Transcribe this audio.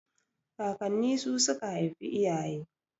Kakanni su suka haifi iyaye